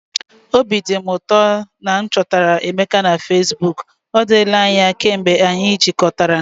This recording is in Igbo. Obi dị m ụtọ na m chọtara Emeka na Fesbuk! Ọ dịla anya kemgbe anyị jikọtara.